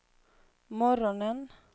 morgonen